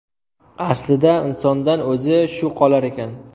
Aslida insondan o‘zi shu qolar ekan.